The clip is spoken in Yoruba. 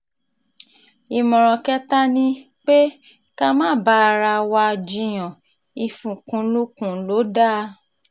ìmọ̀ràn kẹta ni um pé ká má bá ara um wa jiyàn ìfikùnlukùn lọ dáa